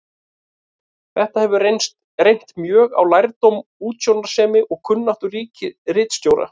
Þetta hefur reynt mjög á lærdóm, útsjónarsemi og kunnáttu ritstjórnar.